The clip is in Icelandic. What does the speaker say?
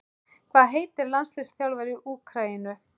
Hvað heitir landsliðsþjálfari Úkraínu?